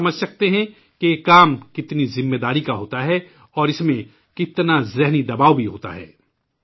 ہم سمجھ سکتے ہیں کہ یہ کام کتنی ذمہ داری کا ہوتا ہے اور اس میں کتنا ذہنی دباؤ بھی ہوتا ہے